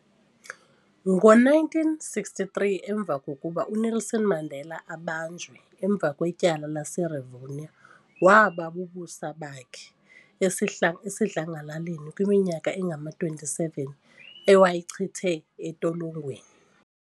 Ngo 1963 emva kokuba uNelson Mandela abanjwe emva kwetyala lase Revonia waba bubusa bakhe esihla esidlangalaleni kwiminyaka engama 27 ewayayichithe etolongweni